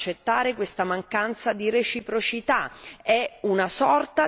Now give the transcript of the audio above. Non è possibile accettare questa mancanza di reciprocità.